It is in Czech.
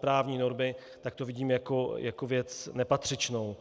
právní normy, tak to vidím jako věc nepatřičnou.